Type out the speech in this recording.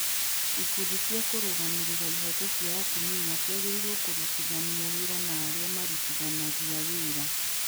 Ikundi cia kũrũgamĩrĩra ihooto cia atumia ciagĩrĩirũo kũrutithania wĩra na arĩa arĩa marutithanagia wĩra.